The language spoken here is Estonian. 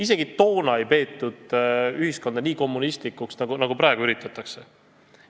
Isegi toona ei peetud ühiskonda nii kommunistlikuks, nagu praegu üritatakse.